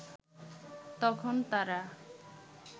তখন তারা